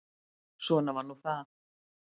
Svona var nú það.